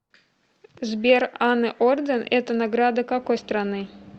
сбер анны орден это награда какой страны